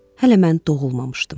Hələ mən doğulmamışdım.